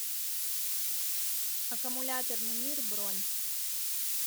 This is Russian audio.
аккумуляторный мир бронь